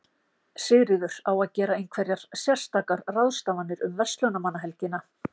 Sigríður: Á að gera einhverjar sérstakar ráðstafanir um verslunarmannahelgina?